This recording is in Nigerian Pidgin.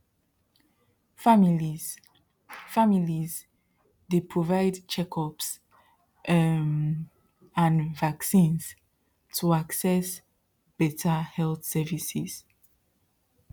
families families dey provide checkups um and vaccines to access better health services